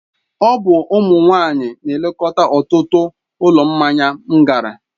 Ọ bụ ụmụ nwanyị na-elekọta ọtụtụ ụlọ mmanya m gara.